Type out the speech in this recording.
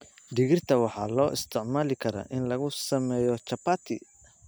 Digirta waxaa loo isticmaali karaa in lagu sameeyo chapati.